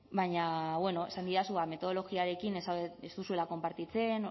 baina bueno esan didazu metodologiarekin ez zaudetela ez duzuela konpartitzen